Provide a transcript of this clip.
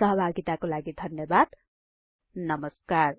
सहभागिताको लागि धन्यबाद नमस्कार